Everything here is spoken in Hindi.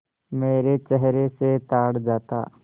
मेरे चेहरे से ताड़ जाता